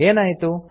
ಏನಾಯಿತು